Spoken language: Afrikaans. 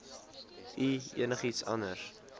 u enigiets anders